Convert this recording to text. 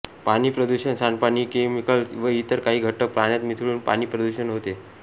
पाणी प्रदूषण सांडपाणीकेमिकॅल्स व इतर काही घटक पाण्यात मिसळून पाणी प्रदूषण होते